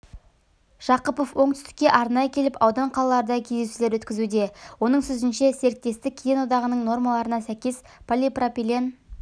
жақыпов оңтүстікке арнайы келіп аудан-қалаларда кездесулер өткізуде оның сөзінше серіктестік кеден одағының нормаларына сәйкес полипропилен